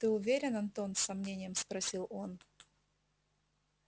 ты уверен антон с сомнением спросил он